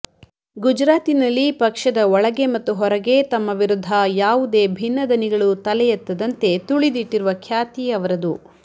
ಗುಜರಾತಿನಲ್ಲಿ ಪಕ್ಷದ ಒಳಗೆ ಮತ್ತು ಹೊರಗೆ ತಮ್ಮ ವಿರುದ್ಧ ಯಾವುದೇ ಭಿನ್ನದನಿಗಳು ತಲೆಯೆತ್ತದಂತೆ ತುಳಿದಿಟ್ಟಿರುವ ಖ್ಯಾತಿ ಅವರದು